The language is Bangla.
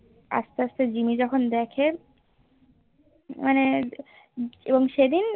আস্তে আস্তে জিম্মি যখন দেখে মানে এবং সেই দিন